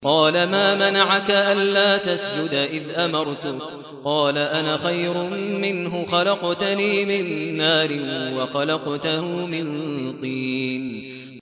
قَالَ مَا مَنَعَكَ أَلَّا تَسْجُدَ إِذْ أَمَرْتُكَ ۖ قَالَ أَنَا خَيْرٌ مِّنْهُ خَلَقْتَنِي مِن نَّارٍ وَخَلَقْتَهُ مِن طِينٍ